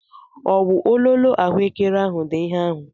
Ọwụ ololo ahuekere ahụ dị ihe ahụ?